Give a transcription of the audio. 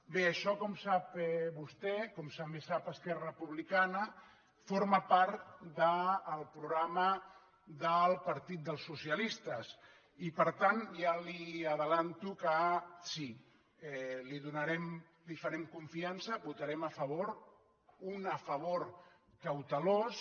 bé això com sap vostè com també sap esquerra republicana forma part del programa del partit dels socialistes i per tant ja li avanço que sí li farem confiança hi votarem a favor un a favor cautelós